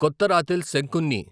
కొత్తరాతిల్ శంకున్ని